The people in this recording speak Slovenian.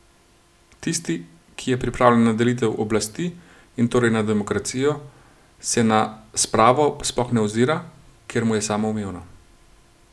Tisti, ki je pripravljen na delitev oblasti in torej na demokracijo, se na spravo sploh ne ozira, ker mu je samoumevna.